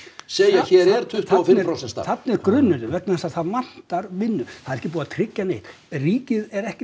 segja hérna er tuttugu og fimm prósent starf þarna er grunnurinn vegna þess að það vantar vinnu það er ekki búið að tryggja neitt ríkið er ekki